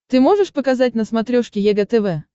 ты можешь показать на смотрешке егэ тв